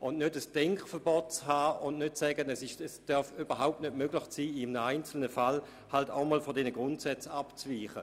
Es geht darum, sich kein Denkverbot aufzuerlegen und nicht zu sagen, es dürfe überhaupt nicht möglich sein, in einem Einzelfall von diesen Grundsätzen abzuweichen.